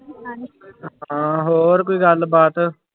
ਹਾਂ ਹੋਰ ਕੋਈ ਗੱਲਬਾਤ।